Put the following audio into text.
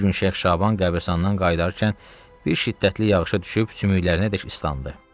Bir gün Şeyx Şaban qəbiristanlıqdan qayıdarkən bir şiddətli yağışa düşüb sümüklərinədək islandı.